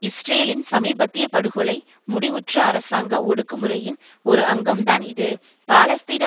இஸ்ரேலின் சமீபத்திய படுகொலை முடிவுற்ற அரசாங்க ஒடுக்குமுறையின் ஒரு அங்கம்தான் இது பாலஸ்தீன